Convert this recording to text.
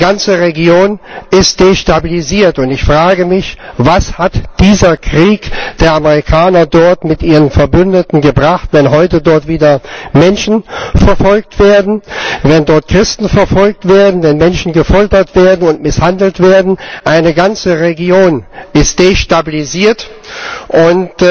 Die ganze Region ist destabilisiert, und ich frage mich Was hat dieser Krieg der Amerikaner dort mit ihren Verbündeten gebracht, wenn heute dort wieder Menschen verfolgt werden, wenn dort Christen verfolgt werden, wenn Menschen gefoltert und misshandelt werden? Eine ganze Region ist destabilisiert, und